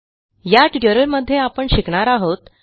या ट्युटोरियलमध्ये आपण शिकणार आहोत